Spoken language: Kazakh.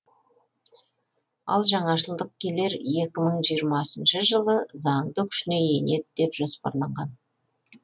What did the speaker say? ал жаңашылдық келер жиырмасыншы жылы заңды күшіне енеді деп жоспарланған